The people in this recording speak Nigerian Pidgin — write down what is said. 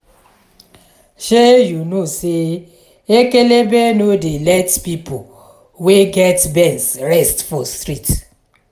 shey you no sey ekelebe no dey let pipo wey get benz rest for street.